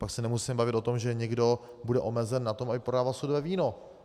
Pak se nemusíme bavit o tom, že někdo bude omezen na tom, aby prodával sudové víno.